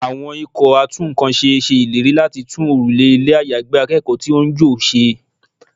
Àwọn ikọ̀ a tún ǹkan ṣe ṣe ìlérí láti tún òrùlé ilé àyágbé akẹ́kọ̀ọ́ tí ó ń jò ṣe.